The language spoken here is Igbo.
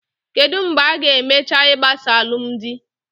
Kedụ mgbe a-ga emecha igbasa alụmdi?